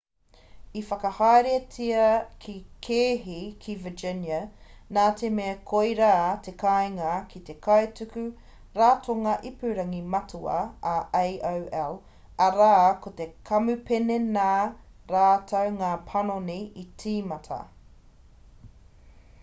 i whakahaeretia te kēhi ki virginia nā te mea koirā te kāinga ki te kaituku ratonga ipurangi matua a aol arā ko te kamupene nā rātou ngā panoni i tīmata